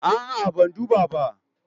A'a, ban duba ba.